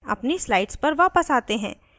अपनी slides पर वायस आते हैं